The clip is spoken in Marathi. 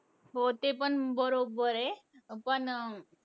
हो ते पण बरोबर आहे. पण अं